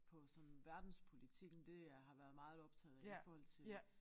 På sådan verdenspolitikken det øh har været meget optaget af i forhold til